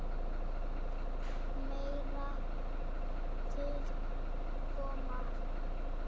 Meira til koma.